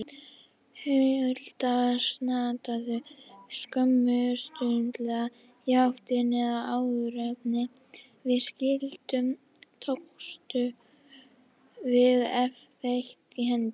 Hulda snautuðum skömmustuleg í háttinn, en áðuren við skildum tókumst við þétt í hendur.